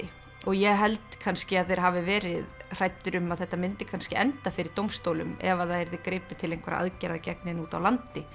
og ég held kannski að þeir hafi verið hræddir um að þetta myndi kannski enda fyrir dómstólum ef það yrði gripið til einhverra aðgerða gegn henni úti á landi